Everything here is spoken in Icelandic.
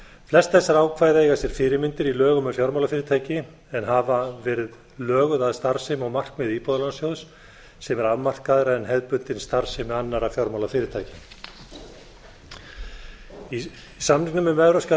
flest þessara ákvæða eiga sér fyrirmyndir í lögum um fjármálafyrirtæki en hafa verið löguð að starfsemi og markmiði íbúðalánasjóðs sem er afmarkaðra en hefðbundin starfsemi annarra fjármálafyrirtækja í samningnum um evrópska